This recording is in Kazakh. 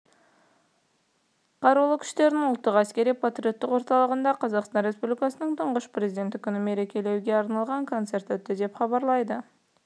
қарулы күштердің ұлттық әскери-патриоттық орталығында қазақстан республикасының тұңғыш президенті күнін мерекелеуге арналған концерт өтті деп хабарлайды